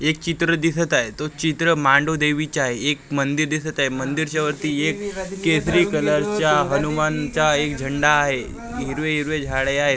एक चित्र दिसत आहे तो चित्र मांडोदेवीचं आहे एक मंदिर दिसत आहे मंदिरच्या वरती एक केसरी कलरचा एक हनुमानचा एक झंडा आहे हिरवेहिरवे झाडे आहेत .